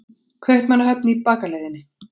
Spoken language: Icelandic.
Kaupmannahöfn í bakaleiðinni.